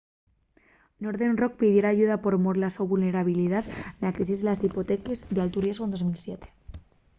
northern rock pidiera ayuda por mor de la so vulnerabilidá na crisis de les hipoteques d’altu riesgu de 2007